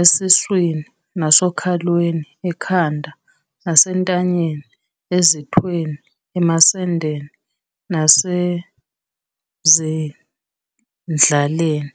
Esiswini nasokhalweni, ekhanda nasentanyeni, ezithweni, emasendeni nasezindlaleni.